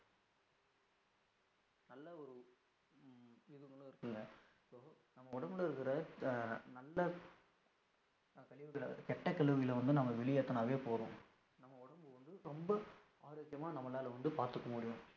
நம்ம உடம்புல இருக்குற அஹ் நல்ல கழிவுகள கெட்ட கழிவுகளை வந்து நம்ம வெளியேதுனாலே போதும், நம்ம உடம்பு வந்து ரொம்ப ஆரோக்கியமா நம்மலாள வந்து பாத்துக்கமுடியும்.